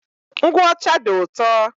Ngwụ ọcha dị ụtọ.